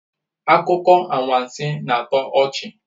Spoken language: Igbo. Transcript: Akụkọ anwansi na-atọ ọchị